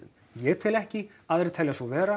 ég tel ekki aðrir telja svo vera